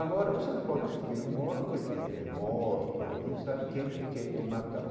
Agora você não pode subir um morro porque é morto, não sabe quem que quer te matar.